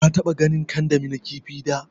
ka taɓa ganin kandami na kifi da?